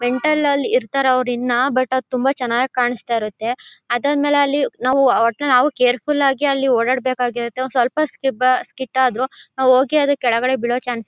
Mental ಅಲ್ಲಿ ಇರ್ತಾರೆ ಅವ್ರ್ ಇನ್ ಬಟ್ ಅದು ತುಂಬಾ ಚನ್ನಾಗ್ ಕಾನಾಸ್ತಾ ಇರುತ್ತೆ. ಅದಾದ್ಮೇಲೆ ಅಲ್ಲಿ ನಾವು ಒಟ್ನಲ್ಲಿ ನಾವು ಕ್ಯಾರೆಫ್ಯೂಲ್ ಆಗಿ ಅಲ್ಲಿ ಓಡಾಡ್ಬೇಕ್ ಆಗಿರುತ್ತೆ. ಸ್ವಲ್ಪ ಸ್ಕಿಬ್ ಅದ್ರ್ ಸ್ಕಿಡ್ ಆದ್ರೂ ನಾವು ಹೋಗಿ ಅಲ್ಲಿ ಕೆಳಗಡೆ ಬಿಳೋ ಚಾನ್ಸ್ --